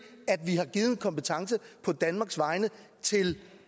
har givet kompetence på danmarks vegne til